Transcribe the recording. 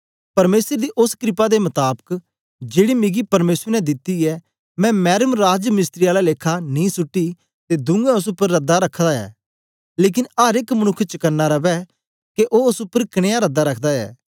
परमेसर दी ओस क्रपा दे मताबक जेड़ी मिगी परमेसर ने दित्ती ऐ मैं मैरम राज मिस्त्री आला लेखा नीं सुट्टी ते दूऐ ओस उपर रद्दा रखदा ऐ लेकन अर एक मनुक्ख चकना रवै के ओ ओस उपर कनया रद्दा रखदा ऐ